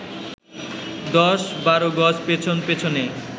১০/১২ গজ পেছন পেছনই